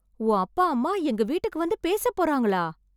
உன் அப்பா அம்மா எங்க வீட்டுக்கு வந்து பேசப்போறாங்களா...